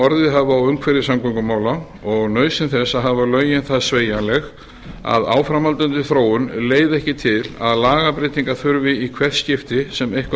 hafa á umhverfi samgöngumála og nauðsyn þess að hafa lögin það sveigjanleg að áframhaldandi þróun leiði ekki til að lagabreytingar þurfi í hvert skipti sem eitthvað